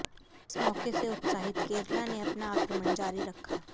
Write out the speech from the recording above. इस मौके से उत्साहित केरला ने अपना आक्रमण जारी रखा